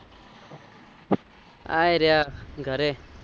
આયી રહ્યા ઘરે